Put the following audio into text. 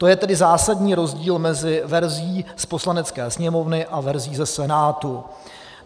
To je tedy zásadní rozdíl mezi verzí z Poslanecké sněmovny a verzí ze Senátu.